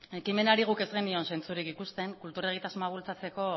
ekimenaren guk ez genion zentzurik ikusten kultura egitasmoa bultzatzeko